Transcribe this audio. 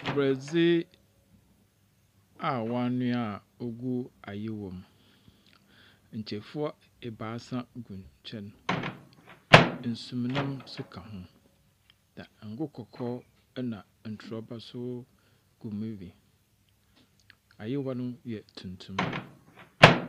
Borɔdze a wɔanoa a ogu ayowa mu, nkyefua abaasa gu nkyɛn, nsumnam ka ho. Ngo kɔkɔɔ na ntrɔba nso gu mu bi. Ayowa no yɛ tuntum.